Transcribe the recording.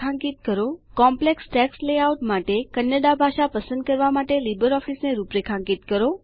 જટિલ લખાણ રચના કોમ્પલેક્સ ટેક્સ્ટ લેઆઉટ માટે કન્નડા ભાષા પસંદ કરવા માટે લીબર ઓફીસને રૂપરેખાંકિત કરો